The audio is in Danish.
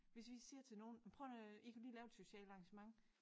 Hvis vi siger til nogen jamen prøv nu at øh I kunne lige lave et socialt arrangement